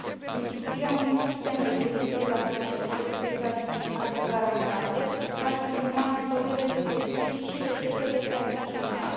Instituirea unui sistem referitor la specialitățile tradiționale garantate va stimula metodele de producție și rețetele tradiționale.